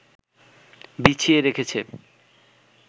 বিছিয়ে রেখেছে